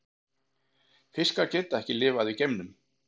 Fiskar geta ekki lifað í geimnum.